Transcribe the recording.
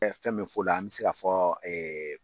fɛn min fɔ o la an mɛ se ka fɔ